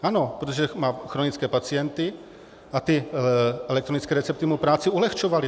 Ano, protože má chronické pacienty a ty elektronické recepty mu práci ulehčovaly.